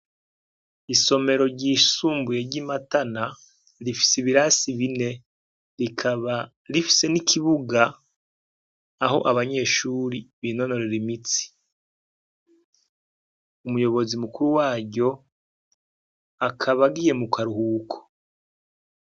Isomero ryisumbuye ryimatana rifise ibirasi bine rikaba rifise nikibuga aho abanyeshuri binonorera imitsi umuyobozi mukuru waryo akaba agiye mukaruhuko